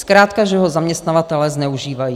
Zkrátka že ho zaměstnavatelé zneužívají.